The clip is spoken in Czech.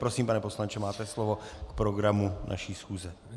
Prosím, pane poslanče, máte slovo k programu naší schůze.